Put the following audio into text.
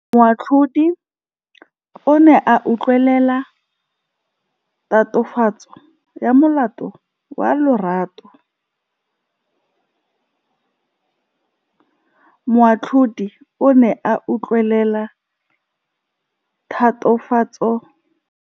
Moatlhodi o ne a utlwelela tatofatsô ya molato wa Lerato.